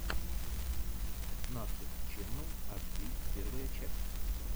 нашид ченнал аш ди первая часть